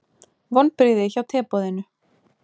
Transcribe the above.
Vonbrigði hjá teboðinu